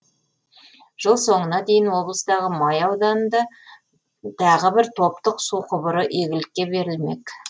жыл соңына дейін облыстағы май ауданында тағы бір топтық су құбыры игілікке берілмек